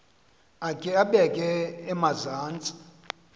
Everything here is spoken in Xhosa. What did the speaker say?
akhe abeke emazantsi